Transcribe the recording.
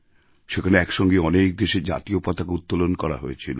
সেখানে একসঙ্গে অনেক দেশের জাতীয় পতাকাউত্তোলন করা হয়েছিল